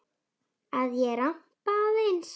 Að ég ramba aðeins.